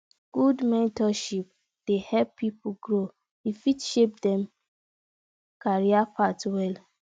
good mentorship dey help pipo grow e fit shape dem career path well